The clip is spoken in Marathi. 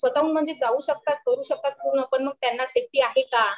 स्वतःहून जाऊ शकतात करू शकतात मग त्यांना सेफ्टी आहे का?